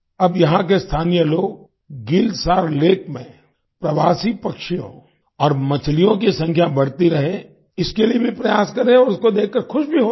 अब यहां के स्थानीय लोग गिल सार लेक में प्रवासी पक्षियों और मछलियों की संख्या बढ़ती रहे इसके लिए भी प्रयास कर रहे हैं और उसको देखकर खुश भी होते हैं